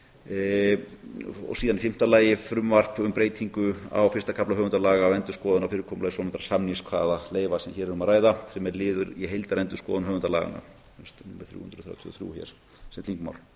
og þriðja þingmál í fimmta lagi frumvarp um breytingu á fyrsta kafla höfundalaga um endurskoðun á fyrirkomulagi svonefndra samningskvaðaleyfa sem hér er um að ræða sem er liður í heildarendurskoðun höfundalaganna a þrjú hundruð þrjátíu og þrjú hér sem þingmál